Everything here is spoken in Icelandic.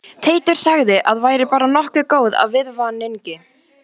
Teitur sagði að væri bara nokkuð góð af viðvaningi